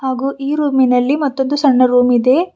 ಹಾಗೂ ಈ ರೂಮಿನಲ್ಲಿ ಮತ್ತೊಂದು ಸಣ್ಣ ರೂಮಿದೆ.